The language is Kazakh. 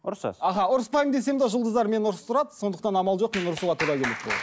ұрысасыз аха ұрыспаймын десем де жұлдыздар мені ұрыстырады сондықтан амал жоқ мен ұрысуға тура келетін болады